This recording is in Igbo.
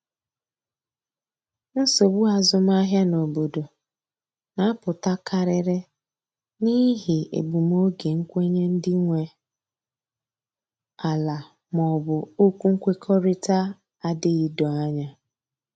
Nsogbu azụmahịa n’obodo na apụta karịrị n'ihi egbum oge nkwenye ndị nwe ala ma ọ bụ okwu nkwekọrịta adịghị doo anya